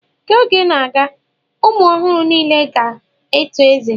Ka oge na-aga, ụmụ ọhụrụ niile ka ga-eto ezé